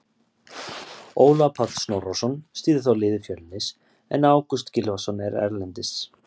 Ólafur Páll Snorrason stýrði þá liði Fjölnis en Ágúst Gylfason er erlendis.